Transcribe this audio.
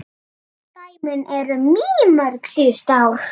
Dæmin eru mýmörg síðustu ár.